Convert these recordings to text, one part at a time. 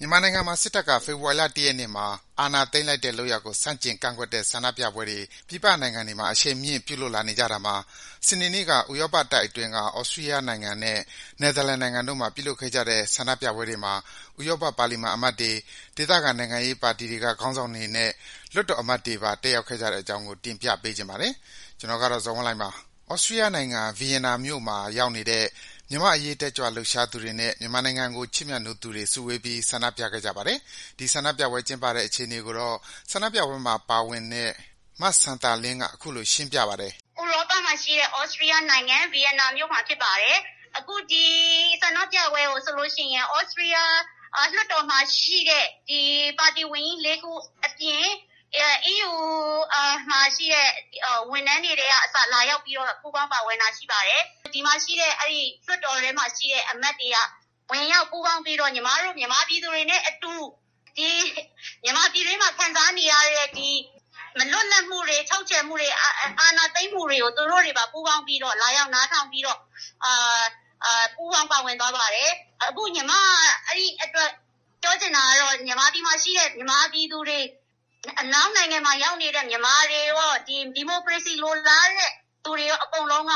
မြန်မာနိုင်ငံမှာ စစ်တပ်က ဖေဖော်ဝါရီလ ၁ ရက်နေ့မှာ အာဏာသိမ်းလိုက်တဲ့လုပ်ရပ်ကို ဆန့်ကျင်ကန့်ကွက်တဲ့ ဆန္ဒပြပွဲတွေ ပြည်ပနိုင်ငံတွေမှာ အရှိန်မြင့် ပြုလုပ်လာနေကြတာမှာ စနေနေ့က ဥရောပတိုက်အတွင်းက သြစတီးယားနဲ့ နယ်သာလန်နိုင်ငံတို့မှာ ပြုလုပ်ခဲ့ကြတဲ့ ဆန္ဒပြပွဲတွေမှာ ဥရောပပါလီမန် အမတ်တွေ၊ ဒေသခံနိုင်ငံရေးပါတီတွေက ခေါင်းဆောင်တွေနဲ့ လွှတ်တော်အမတ်တွေပါ တက်ရောက်ခဲ့ကြတဲ့အကြောင်းကို တင်ပြပေးချင်ပါတယ်။ ကျနော် ဇော်ဝင်းလှိုင်ပါ။ သြစတီးယားနိုင်ငံ၊ ဗီယင်နာမြို့မှာရောက်နေတဲ့ မြန်မာ့အရေး တက်ကြွလှုပ်ရှားသူတွေနဲ့ မြန်မာနိုင်ငံကို ချစ်မြတ်နိုးသူတွေ စုဝေးပြီး ဆန္ဒပြခဲ့ကြပါတယ်။ ဒီဆန္ဒပြပွဲ ကျင်းပတဲ့အခြေအနေကိုတော့ ဆန္ဒပြပွဲမှာ ပါဝင်နေတဲ့ မစံသာလင်းက အခုလို ရှင်းပြပါတယ်။ “ဥရောပမှာရှိတဲ့ သြစတီးယားနိုင်ငံ၊ ဗီယင်နာမြို့မှာ ပြုလုပ်နေတာပါ။ အခု ဒီဆန္ဒပြပွဲကို သြစတီးယားလွှတ်တော်မှာရှိတဲ့ ပါတီကြီး ၄ ခုအပြင်၊ အီးယူမှာရှိတဲ့ ဝန်ထမ်းတွေ ကအစ လာရောက်ပြီးတော့ ပူးပေါင်း ပါဝင်တာ ရှိပါတယ်။ လွှတ်တော်ထဲမှာရှိတဲ့ အမတ်တွေက ဝင်ရောက် ပူးပေါင်းပြီးတော့ ညီမတို့ မြန်မာပြည်သူတွေနဲ့အတူ မြန်မာပြည်တွင်းမှာ ခံစားနေရတဲ့ မလွတ်လပ်မှုတွေ၊ ချုပ်ခြယ်မှုတွေ၊ အာဏာသိမ်းမှုတွေကို သူတို့တွေပါ ပူးပေါင်းပြီးတော့ လာရောက် နားထောင်ပြီးတော့ ပူးပေါင်း ပါဝင်သွားပါတယ်။ အခု ညီမ ပြောချင်တာကတော့ မြန်မာပြည်မှာရှိတဲ့ မြန်မာပြည်သူတွေ အနောက်နိုင်ငံမှာ ရောက်နေတဲ့ မြန်မာတွေရော၊ ဒီမိုကရေစီ လိုလားတဲ့သူတွေရော အကုန်လုံးက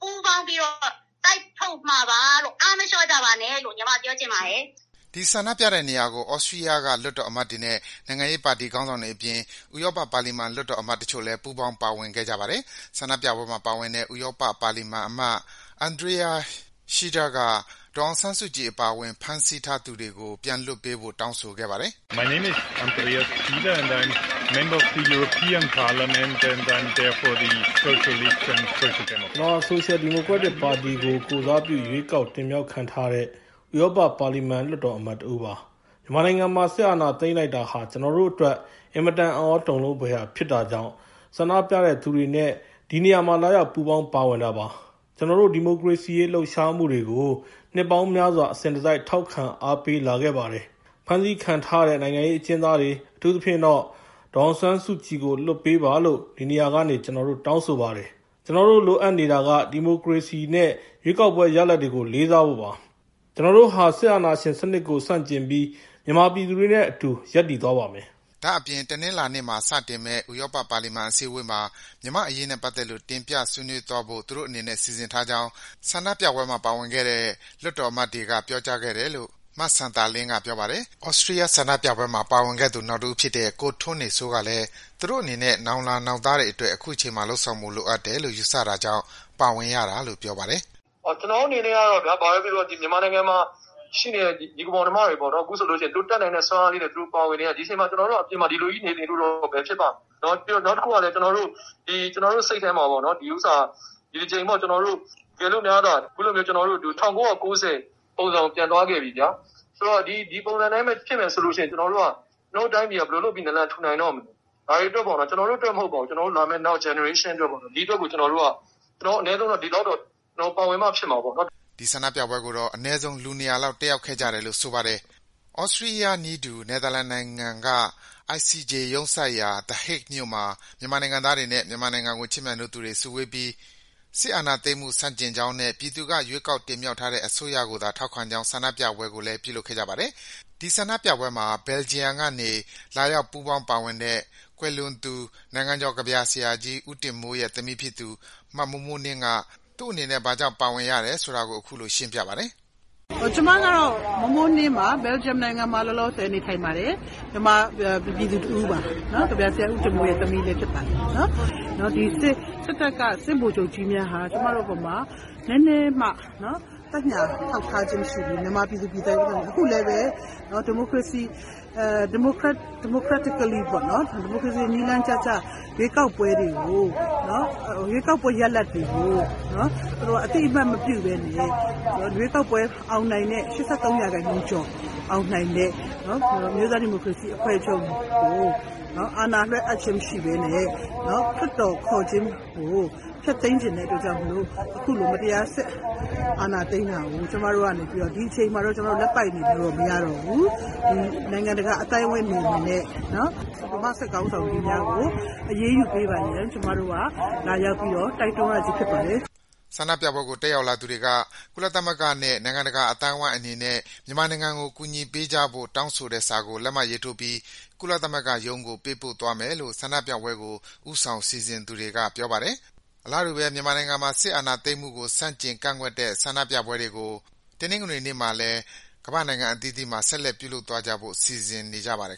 ပူးပေါင်းပြီးတော့ တိုက်ထုတ်မှာပါလို့။ အားမလျော့ကြပါနဲ့လို့ ညီမပြောချင်ပါတယ်။” ဒီ ဆန္ဒပြတဲ့နေရာကို သြစတီးယားက လွှတ်တော်အမတ်တွေနဲ့ နိုင်ငံရေးပါတီခေါင်းဆောင်တွေအပြင် ဥရောပပါလီမန် လွှတ်တော်အမတ်တချို့လည်း ပူးပေါင်း ပါဝင်ခဲ့ကြပါတယ်။ ဆန္ဒပြပွဲမှာ ပါဝင်တဲ့ ဥရောပပါလီမန်အမတ် Andreas Schieder က ဒေါ်အောင်ဆန်းစုကြည် အပါအဝင် ဖမ်းဆီးထားသူတွေကို ပြန်လွှတ်ပေးဖို့ တောင်းဆိုခဲ့ပါတယ်။ “ကျနော့်နာမည်ကတော့ Andreas Schieder ပါ။ ကျနော်ဟာ ဆိုရှယ်ဒီမိုကရက်ပါတီကို ကိုယ်စားပြုရွေးကောက်တင်မြှောက်ခံထားရတဲ့ ဥရောပပါလီမန် လွှတ်တော်အမတ်တဦး ဖြစ်ပါတယ်။ မြန်မာနိုင်ငံမှာ စစ်အာဏာသိမ်းလိုက်တာဟာ ကျနော်တို့အတွက် အင်မတန် အံ့သြ တုန်လှုပ်ဖွယ်ရာဖြစ်တာကြောင့် ဆန္ဒပြသူတွေနဲ့ ဒီနေရာမှာ လာရောက် ပူးပေါင်း ပါဝင်တာပါ။ ကျနော်တို့ ဒီမိုကရေစီအရေး လှုပ်ရှားမှုတွေကို နှစ်ပေါင်းများစွာ အစဉ်တစိုက် ထောက်ခံ အားပေးလာခဲ့ပါတယ်။ ဖမ်းဆီးခံထားရတဲ့ နိုင်ငံရေးအကျဉ်းသားတွေ၊ အထူးသဖြင့်တော့ ဒေါ်အောင်ဆန်းစုကြည်ကို လွှတ်ပေးပါလို့ ဒီနေရာကနေ ကျနော်တို့ တောင်းဆိုပါတယ်။ ကျနော်တို့ လိုအပ်နေတာက ဒီမိုကရေစီနဲ့ ရွေးကောက်ပွဲရလဒ်တွေကို လေးစားဖို့ပါ။ ကျနော်တို့ဟာ စစ်အာဏာရှင်စနစ်ကို ဆန့်ကျင်ပြီး မြန်မာပြည်သူတွေနဲ့ အတူရပ်သွားပါမယ်။” ဒါ့အပြင် တနင်္လာနေ့မှာ စတင်မယ့် ဥရောပ ပါလီမန်အစည်းဝေးမှာ မြန်မာ့အရေးနဲ့ပတ်သက်လို့ တင်ပြဆွေးနွေးသွားဖို့ သူတို့အနေနဲ့ စီစဉ်ထားကြောင်း ဆန္ဒပြပွဲမှာ ပါဝင်ခဲ့တဲ့ လွှတ်တော်အမတ်တွေက ပြောကြားခဲ့တယ်လို့ မစံသာလင်းက ပြောပါတယ်။ သြစတီးယားက ဆန္ဒပြပွဲမှာ ပါဝင်ခဲ့သူ နောက်တဦးဖြစ်တဲ့ ကိုထွန်းနေစိုးကလည်း သူတို့အနေနဲ့ နောင်လာ နောက်သားတွေအတွက် အခုချိန်မှာ လုပ်ဆောင်ဖို့ လိုအပ်တယ်လို့ ယူဆတာကြောင့် ပါဝင်ရတာလို့ ပြောပါတယ်။ "ကျနော်တို့ အနေနဲ့ကတော့ ဘာဘဲ ပြောပြော ဒီ မြန်မာနိုင်ငံမှာ ရှိနေတဲ့ ညီအကို မောင်နှမတွေ ပေါ့နော်။ အခုဆိုလို့ ရှိရင် သူတို့ တတ်နိုင်တဲ့ စွမ်းအားလေးနဲ့ သူတို့ ပါဝင်နေတာ။ ဒီအချိန်မှာ ဆိုလို့ ရှိရင် ကျနော်တို့က အပြင်မှာ ဒီလိုကြီး နေနေလို့တော့ ဘယ်ဖြစ်ပါ့မလဲ။ နောက်တခုကလည်း ကျနော်တု့ိ စိတ်ထဲမှာလည်းဘဲ ဒီ ကျနော်တို့ ဒီတကြိမ်မှာ ကျနော်တို့ ၁၉၉၀ ပုံစံကို ပြန်သွားခဲ့ပြီဗျာ။ ဆိုတော့ ဒီပုံစံ အတိုင်းဘဲ ဖြစ်မယ်ဆိုလို့ ရှိရင် ကျနော်တို့ တိုင်းပြည်က ဘယ်လို လုပ်ပြီး နာလန် ထူနိုင်တော့မလဲ။ ကျနော်တို့ အတွက် မဟုတ်ပါဘူး။ ကျနော်တို့ နောက် မျိုးဆက် အတွက်ပေါ့။ ကျနေ်ာတို့က အနည်းဆုံးတော့ ပါဝင်မှ ဖြစ်မှာပေါ့နော်။ " ဆန္ဒပြပွဲကိုတော့ အနည်းဆုံး လူ ၂၀၀ လောက် တက်ရောက်ခဲ့တယ်လို့ ဆိုပါတယ်။ သြစတီးယားနည်းတူ နယ်သာလန်နိုင်ငံက ICJ ရုံးစိုက်ရာ The Hague မြို့မှာ မြန်မာနိုင်ငံသားတွေနဲ့ မြန်မာနိုင်ငံကို ချစ်မြတ်နိုးသူတွေ စုဝေးပြီး စစ်အာဏာသိမ်းမှု ဆန့်ကျင်ကြောင်းနဲ့ ပြည်သူက ရွေးကောက်တင်မြှောက်ထားတဲ့ အစိုးရကိုသာ ထောက်ခံကြောင်း ဆန္ဒပြပွဲ ပြုလုပ်ခဲ့ကြပါတယ်။ ဒီဆန္ဒပြပွဲကို Belgium ကနေ လာရောက် ပူးပေါင်းပါဝင်တဲ့ ကွယ်လွန်သူ နိုင်ငံကျော် ကဗျာဆရာကြီး ဦးတင်မိုးရဲ့ သမီးတဦးဖြစ်သူ မမိုးမိုးနှင်းလည်း ပါဝင်ပါတယ်။ "ကျမကတော့ မိုးမိုးနှင်းပါ။ ဘယ်လ်ဂျီယံ နိုင်ငံမှာ လောလောဆယ် နေထိုင်ပါတယ်။ မြန်မာ ပြည်သူ တဦးပါ။ ကဗျာဆရာ ဦးတင်မိုးရဲ့ သမီးလည်း ဖြစ်ပါတယ်။ စစ်တပ်က စစ်ဗိုလ်ချုပ်ကြီးများဟာ ကျမတို့ အပေါ်မှာ နည်းနည်းမှ သက်ညှာ ထောက်ထားခြင်း မရှိဘဲနဲ့ မြန်မာ ပြည်သူ ပြည်သားတွေ အပေါ်မှာ။ အခုလည်းဘဲ ဒီမိုကရေစီ နည်းလမ်းကျကျ ရွေးကောက်ပွဲ ရလဒ်တွေကို သူတို့က အသိအမှတ် မပြုဘဲ ရွေးကောက်ပွဲ အောင်နိုင်တဲ့ ၈၃ ရာခိုင်နှုန်းကျော် အောင်နိုင်တဲ့ အမျိုးသား ဒီမိုကရေစီ အဖွဲ့ချုပ်ကို အာဏာလွှဲအပ်ခြင်း မရှိဘဲနဲ့ လွှတ်တော် ခေါ်ခြင်းကို ဖျက်သိမ်းချင်တဲ့ အတွက်ကြောင့် မို့လို့ အခုလို မတရား စစ်အာဏာ သိမ်းတာကို ကျမတို့က ဒီအချိန်မှာ လက်ပိုက် နေလို့တော့ မရတော့ဘူး။ နိုင်ငံတကာ အသိုင်းအဝိုင်း အနေနဲ့ မြန်မာ့ စစ်ခေါင်းဆောင်ကြီးများကို အရေးယူ ပေးပါရန် ကျမတို့က လာရောက်ပြီး တိုက်တွန်း ရခြင်းဖြစ်ပါတယ်။ " ဆန္ဒပြပွဲကို တက်ရောက်လာသူတွေက ကုလသမဂ္ဂနဲ့ နိုင်ငံတကာအသိုင်းဝိုင်းအနေနဲ့ မြန်မာနိုင်ငံကို ကူညီပေးကြဖို့ တောင်းဆိုထားတဲ့ စာကို လက်မှတ်ထိုးပြီး ကုလသမဂ္ဂရုံးကို ပေးပို့သွားမယ်လို့ ဆန္ဒပြပွဲကို ဦးဆောင် စီစဉ်သူတွေက ပြောပါတယ်။ အလားတူဘဲ မြန်မာနိုင်ငံမှာ စစ်တပ်က အာဏာသိမ်းတာကို ဆန့်ကျင် ကန့်ကွက်တဲ့ ဆန္ဒပြပွဲတွေ တနင်္ဂနွေနေ့မှာလည်း ကမ္ဘာ့နိုင်ငံအသီးသီးမှာ ဆက်လက် ပြုလုပ်သွားဖို့ စီစဉ်ထားကြပါတယ်